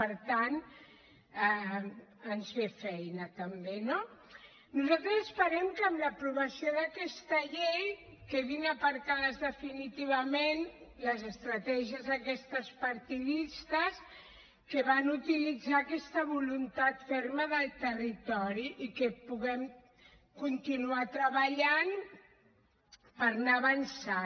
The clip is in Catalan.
per tant ens ve feina també no nosaltres esperem que amb l’aprovació d’aquesta llei quedin aparcades definitivament les estratègies aquestes partidistes que van utilitzar aquesta voluntat ferma del territori i que puguem continuar treballant per anar avançant